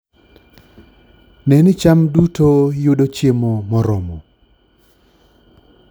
Ne ni cham duto yudo chiemo moromo